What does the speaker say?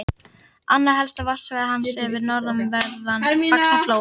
Annað helsta varpsvæði hans er við norðanverðan Faxaflóa.